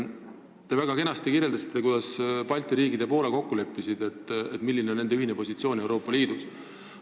Te kirjeldasite väga kenasti, kuidas Balti riigid ja Poola leppisid kokku, milline on nende ühine positsioon Euroopa Liidus.